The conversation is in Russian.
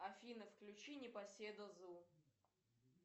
афина включи непоседа зу